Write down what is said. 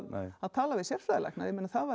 að tala við sérfræðilækna það væri